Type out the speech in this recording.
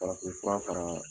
Farafin fura fara